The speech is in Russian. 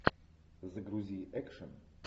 загрузи экшн